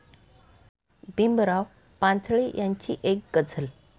भीमराव पांचाळे यांची एक गझल